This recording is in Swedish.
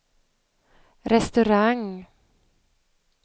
restaurang